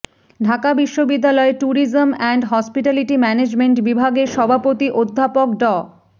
ঢাকা বিশ্ববিদ্যালয়ে tourism and hospitality management বিভাগের সভাপতি অধ্যাপক ড